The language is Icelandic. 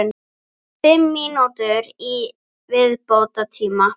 Fimm mínútur í viðbótartíma?